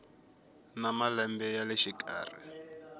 na malembe ya le xikarhi